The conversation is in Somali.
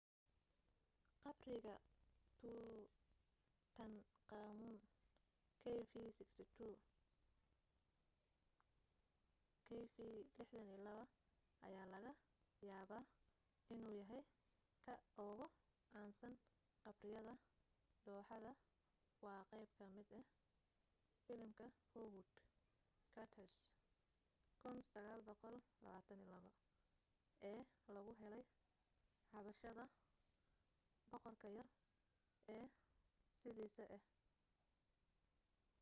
qabriga tutankhamun kv62. kv62 ayaa laga yaabaa inuu yahay ka ugu caansan qabriyada dooxada waa qayb ka mid ah filimka howard carter's 1922 ee lagu helay xabaasha boqorka yar oo sidiisii ah